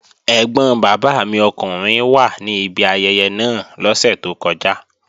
Ẹ́gbọn bàbá mi ọkùnrin wà ní ibi ayẹyẹ náà lọ́sẹ̀ tó kọjá